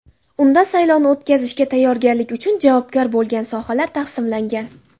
Unda saylovni o‘tkazishga tayyorgarlik uchun javobgar bo‘lgan sohalar taqsimlangan.